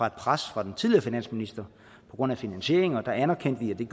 et pres fra den tidligere finansminister på grund af finansieringen og der anerkendte vi